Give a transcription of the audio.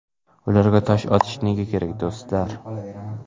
Ularga tosh otish nega kerak, do‘stlar?